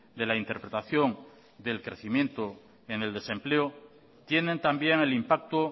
de la interpretación del crecimiento en el desempleo tienen también el impacto